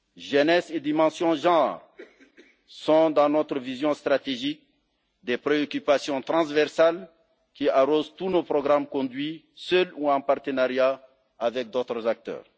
Jeunesse et dimension de genre sont dans notre vision stratégique des préoccupations transversales qui arrosent tous nos programmes conduits seuls ou en partenariat avec d'autres acteurs.